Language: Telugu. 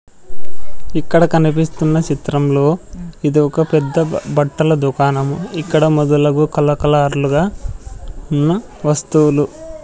ఇక్కడ కనిపిస్తున్న చిత్రంలో ఇది ఒక పెద్ద బట్టల దుకాణం ఇక్కడ మొదలగు కల కలర్లుగా ఉన్న వస్తువులు--